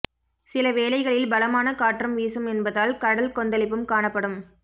சில வேளைகளில் பலமான காற்றும் வீசும் என்பதால் கடல் கொந்தளிப்பும் காணப்படும்